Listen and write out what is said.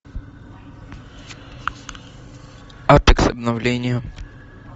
апекс обновление